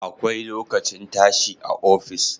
Akwai lokacin tashi a office